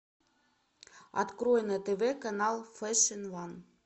открой на тв канал фэшн ван